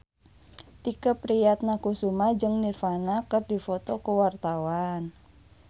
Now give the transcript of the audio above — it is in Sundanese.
Tike Priatnakusuma jeung Nirvana keur dipoto ku wartawan